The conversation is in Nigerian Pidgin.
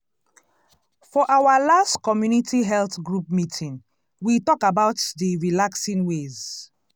for our last community health group meeting we talk about d relaxing ways.